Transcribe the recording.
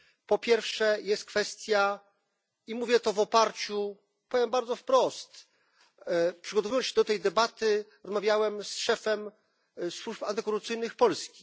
Po pierwsze jest kwestia, i mówię to w oparciu powiem bardzo wprost przygotowując się do tej debaty rozmawiałem z szefem służb antykorupcyjnych Polski.